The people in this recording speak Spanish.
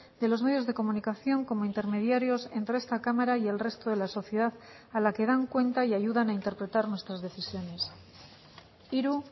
de los medios de comunicación como intermediarios entre esta cámara y el resto de la sociedad a la que dan cuenta y ayudan a interpretar nuestras decisiones hiru